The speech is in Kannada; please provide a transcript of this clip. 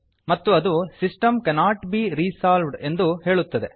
ಮತ್ತು ಅದು ಸಿಸ್ಟಮ್ ಕ್ಯಾನೊಟ್ ಬೆ ರಿಸಾಲ್ವ್ಡ್ ಎಂದು ಹೇಳುತ್ತದೆ